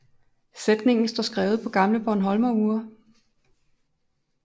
Sætningen står skrevet på gamle bornholmerure